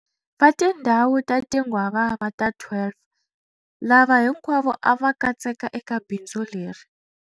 Va tindhawu ta tinghwavava ta 12, lava hinkwavo a va katseka eka bindzu leri.